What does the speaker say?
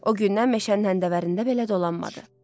O gündən meşənin həndəvərində belə dolanmadı.